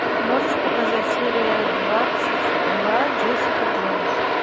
можешь показать серия двадцать два джессика джонс